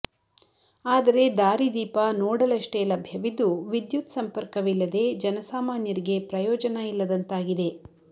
ಆದರೆ ದಾರಿದೀಪ ನೋಡಲಷ್ಟೇ ಲಭ್ಯವಿದ್ದು ವಿದ್ಯುತ್ ಸಂಪರ್ಕವಿಲ್ಲದೆ ಜನಸಾಮಾನ್ಯರಿಗೆ ಪ್ರಯೋಜನ ಇಲ್ಲದಂತಾಗಿದೆ